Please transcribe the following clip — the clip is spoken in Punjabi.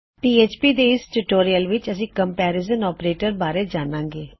ਇਸ ਪੀਐਚਪੀ ਟਿਊਟੋਰਿਯਲ ਵਿੱਚ ਅਸੀਂ ਕੰਮਪੇਰਿਜ਼ਨ ਆਪਰੇਟਰ ਬਾਰੇ ਜਾਨਾਂਗੇ